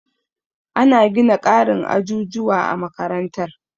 Ana gina ƙarin ajujuwa a makarantar.